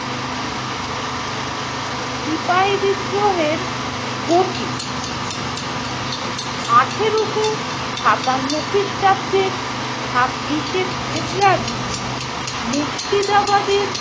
সিপাহি বিদ্রোহের গতি - আঠেরোশো সাতান্ন খ্রিস্টাব্দের ছাব্বিশে শে ফেব্রুয়ারি মুর্শিদাবাদের